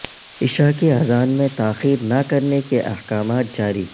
عشاکی اذان میں تاخیر نہ کرنے کے احکامات جاری